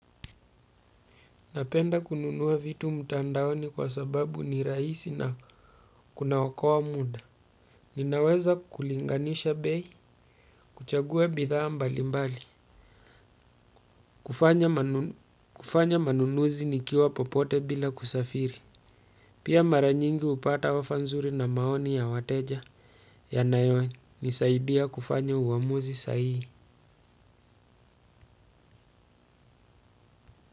Napenda kununua vitu mtandaoni kwa sababu ni rahisi na kunaokoa muda. Ninaweza kulinganisha bei, kuchagua bidhaa mbali mbali. Kufanya manunuzi nikiwa popote bila kusafiri. Pia mara nyingi hupata offer nzuri na maoni ya wateja yanayonisaidia kufanya uamuzi sahihi.